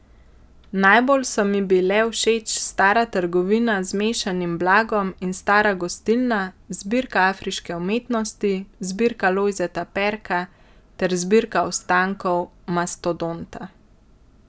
Najbolj so mi bile všeč stara trgovina z mešanim blagom in stara gostilna, zbirka afriške umetnosti, zbirka Lojzeta Perka ter zbirka ostankov mastodonta.